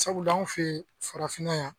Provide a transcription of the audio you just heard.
Sabula anw fɛ ye farafinna yan.